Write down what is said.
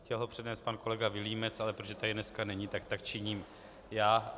Chtěl ho přednést pan kolega Vilímec, ale protože tady dneska není, tak tak činím já.